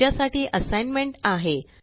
तुमच्या साठी असाइनमेंट आहे